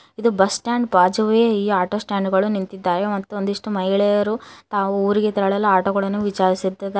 ಇದು bus stand ಬಾಜುವೆ ಈ ಆಟೋ ಸ್ಟ್ಯಾಂಡ್ ಗಳು ನಿಂತಿದ್ದಾವೆ ಒಂದಿಷ್ಟು ಮಹಿಳೆಯರು ತಾವು ಊರಿಗೆ ತೆರಳಲು ಆಟೋಗಳನ್ನು ವಿಚಾರಿಸುತ್ತಿದ್ದಾರೆ.